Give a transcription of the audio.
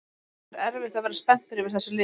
Það er erfitt að vera spenntur yfir þessu liði